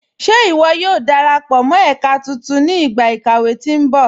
Ṣé iwó yóò darapọ mọ ẹ̀kà tuntun ni igba ikàwé tí nbọ̀?